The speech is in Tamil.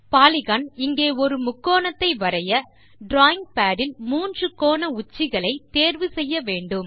பாலிகன் இங்கே ஒரு முக்கோணத்தை வரைய டிராவிங் பாட் இல் மூன்று கோண உச்சிகளை தேர்வு செய்ய வேண்டும்